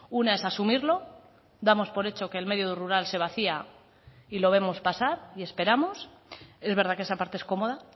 una es asumirlo damos por hecho que el medio rural se vacía y lo vemos pasar y esperamos es verdad que esa parte es cómoda